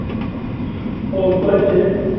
உன் coach